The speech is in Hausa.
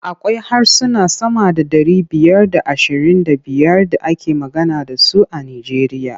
Akwai harsuna sama da ɗari biyar da ashirin da biyar da ake magana da su a Nijeriya.